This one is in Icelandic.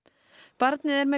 barnið er með